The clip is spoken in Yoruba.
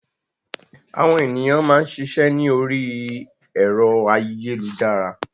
Àwọn ènìyàn máa ń ṣiṣẹ́ ni ori ẹ̀rọ ayélujára.